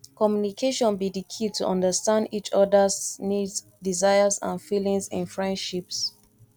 communication be di key to understand each odas needs desires and feelings in friendships